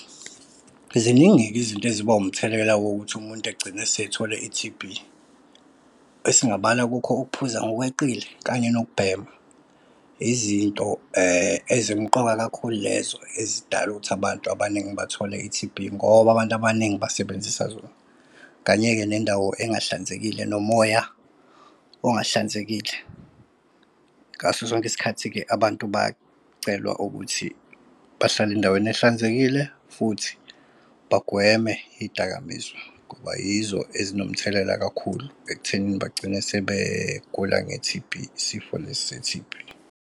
Ziningi-ke izinto eziba umthelela wokuthi umuntu egcine esethole i-T_B esingabala kukho ukuphuza ngokweqile, kanye nokubhema. Izinto ezimqoka kakhulu lezo ezidala ukuthi abantu abaningi bathole i-T_B ngoba abantu abaningi basebenzisa zona. Kanye-ke nendawo engahlanzekile nomoya ongahlanzekile. Ngaso sonke isikhathi-ke abantu bacelwa ukuthi bahlale endaweni ehlalanzekile futhi bagweme iy'dakamizwa ngoba yizo ezinomthelela kakhulu ekutheni bagcine sebegula nge-T_B isifo lesi se-T_B.